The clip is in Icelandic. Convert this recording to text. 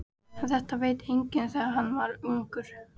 En þetta veit enginn þegar hann er ungur.